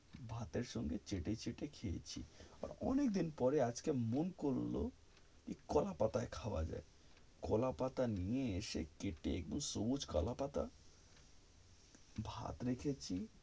ভাতের সঙ্গে চেটে চেটে খেয়েছি, অনেক দিন পরে আজকে মন করলো, কোলা পাতায় খাওয়া যাক, কোলা পাতা নিয়ে এসে, কেটে, একদম সবুজ কোলা পাতা ভাত রেখেছি,